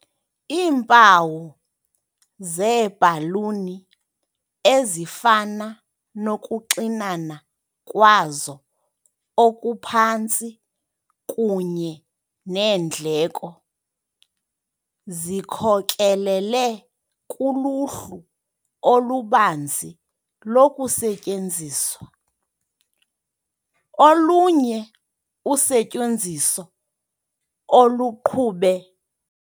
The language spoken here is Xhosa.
Iimpawu zeebhaluni, ezifana nokuxinana kwazo okuphantsi kunye neendleko, zikhokelele kuluhlu olubanzi lokusetyenziswa. Olunye usetyenziso oluqhube